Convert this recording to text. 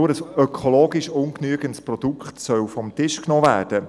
Nur ein ökologisch ungenügendes Produkt soll vom Tisch genommen werden.